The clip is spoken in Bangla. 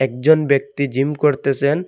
একজন ব্যক্তি জিম করতেসেন ।